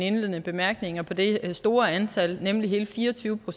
i mine bemærkninger på det store antal nemlig hele fire og tyve